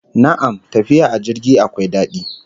Na'am, tafiya a jirgi akwai dadi